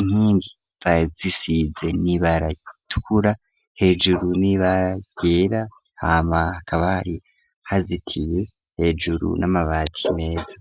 inkinzazisize ntibaratkura hejuru nibagera hama kabari hazitiye hejuru n'amabati meza.